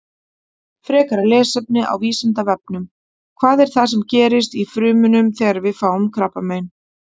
Frekara lesefni á Vísindavefnum: Hvað er það sem gerist í frumunum þegar við fáum krabbamein?